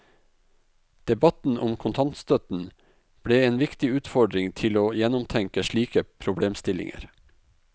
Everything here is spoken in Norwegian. Debatten om kontantstøtten ble en viktig utfordring til å gjennomtenke slike problemstillinger.